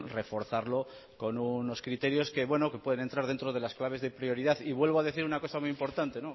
reforzarlo con unos criterios que puedan entrar dentro de las claves de prioridad y vuelvo a decir una cosa muy importante